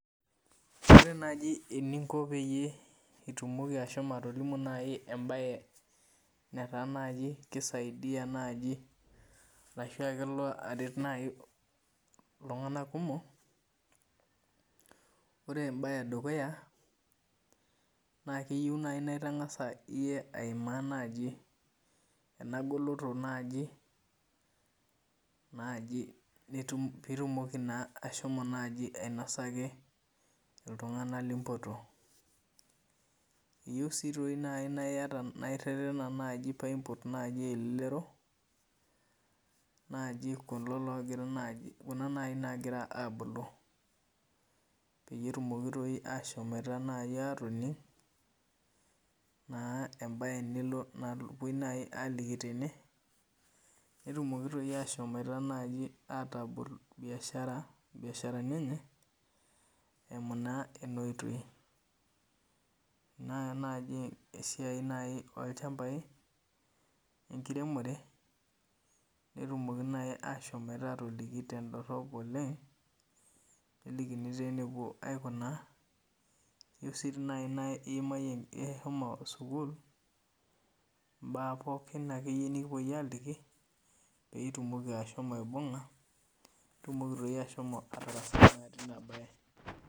Ore nani eninko pitumoki ashomo atolimu embae netaa naji kisaidia nai ltunganak kumok ore embae edukuya na keyieu na itangasa iyie aimaa ena goloto pitumoki ashomo ainasaki ltunganak limpoto, iyieu nai na irerena paimpot elelero naji kulo ovira abulu petumokibashomo atonging embae napuoi ining tene netumoki asho atabol biasharaninenye eimu ena oitoi na esiai olchambai enkiremore netumoki ashomoita atoliki tendorop oleng nelikini nepuoi ainguraa eyieu nai nishomo sukul mbaa pookin akeyie nikipuoi aliki pitumoki aibunga peitumoki ashomo atarasai tinabae.